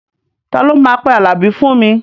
Ta ló máa pe Àlàbí fún mi?